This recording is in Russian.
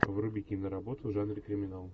вруби киноработу в жанре криминал